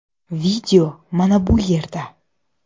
Video mana bu yerda .